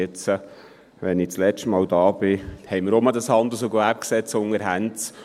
Jetzt, wo ich das letzte Mal hier bin, haben wir wieder das HGG unter den Händen.